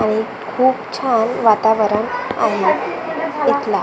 आणि खूप छान वातावरण आहे इथला.